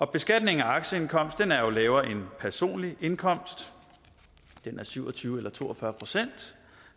beskatning af aktieindkomst er jo lavere end personlig indkomst den er syv og tyve procent eller to og fyrre procent